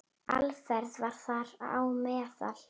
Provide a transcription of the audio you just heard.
Alfreð var þar á meðal.